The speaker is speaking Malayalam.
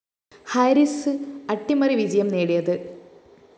ഹാരിസ് അട്ടിമറി വിജയം നേടിയത്